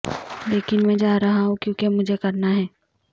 لیکن میں جا رہا ہوں کیونکہ مجھے کرنا ہے